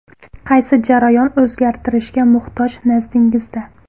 Qaysi jarayon o‘zgartirishga muhtoj nazdingizda?